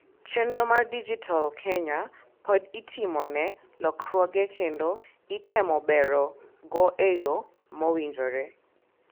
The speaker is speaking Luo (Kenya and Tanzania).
chenro mar dijital Kenya pod itimone lokruoge kendo item bero go e yoo mowinjire